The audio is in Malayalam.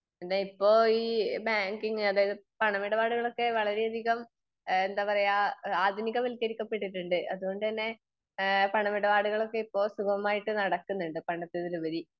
ഇപ്പൊ ഈ ബാങ്കിങ് അതായത് പണമിടപാടുകൾ ഒക്കെ വളരെയധികം ഇഹ് എന്താ പറയാ ആധുനികവൽകരിക്കപ്പെട്ടിട്ടുണ്ട് അതുകൊണ്ട് തന്നെ ഈഹ് പണമിടപാടുകൾ ഒക്കെ ഇപ്പൊ സുഗമായിട്ട് നടക്കുന്നുണ്ട്. പണ്ടത്തതിലുപരി